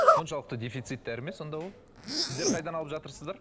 соншалықты дефицит дәрі ме сонда ол сіздер қайдан алып жатырсыздар